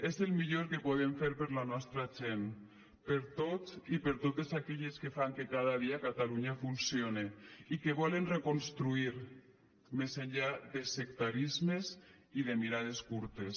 és el millor que podem fer per la nostra gent per tots i per totes aquelles que fan que cada dia catalunya funcione i que volen reconstruir més enllà de sectarismes i de mirades curtes